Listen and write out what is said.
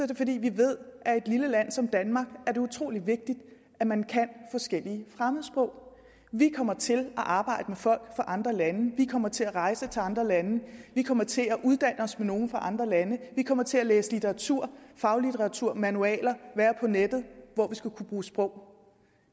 det fordi vi ved at i et lille land som danmark er det utrolig vigtigt at man kan forskellige fremmedsprog vi kommer til at arbejde med folk andre lande vi kommer til at rejse til andre lande vi kommer til at uddanne os med nogle fra andre lande vi kommer til at læse litteratur faglitteratur manualer og være på nettet hvor vi skal kunne bruge sprog